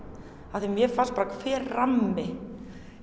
af því að mér fannst bara hver rammi